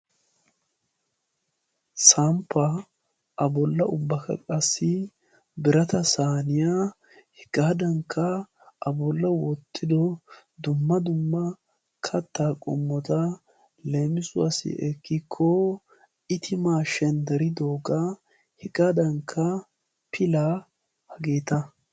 Samppaa a bolla ubbaakka qassi birata saaniyaa hegaadannkka a bolla wottido dumma dumma kattaa qommota leemissuwaassi ekkiko itimaa shenderidoogaa hegandankka pilaa hageeta.